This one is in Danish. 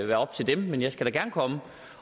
være op til dem men jeg skal da gerne komme